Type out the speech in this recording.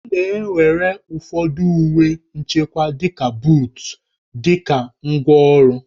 A na-ewere ụfọdụ uwe nchekwa dịka buut dị ka ngwá ọrụ